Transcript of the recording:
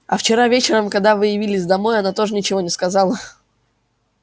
а вчера вечером когда вы явились домой она тоже ничего не сказала